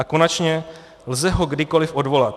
A konečně, lze ho kdykoliv odvolat.